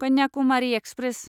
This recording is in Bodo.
कन्याकुमारि एक्सप्रेस